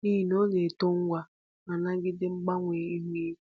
n’ihi na ọ na-eto ngwa ma nagide mgbanwe ihu igwe.